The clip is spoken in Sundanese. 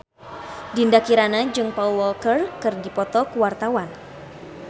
Dinda Kirana jeung Paul Walker keur dipoto ku wartawan